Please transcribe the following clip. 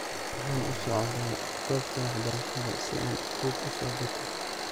Waxan usocota gobta waxbarashada si an buuk uusokato.